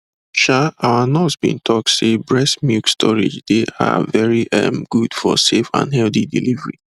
um our nurse been talk say breast milk storage dey ah very um good for safe and healthy delivery